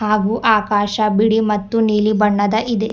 ಹಾಗು ಆಕಾಶ ಬಿಳಿ ಮತ್ತು ನೀಲಿ ಬಣ್ಣದ ಇದೆ.